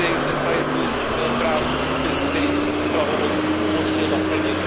detailní právní předpis, který by tuto pravomoc umožnil naplnit.